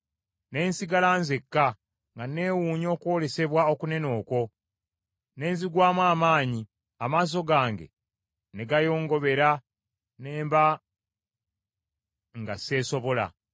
Ne nsigala nzekka, nga neewuunya okwolesebwa okunene okwo; ne nzigwamu amaanyi; amaaso gange ne gayongobera, ne mba, nga seesobola.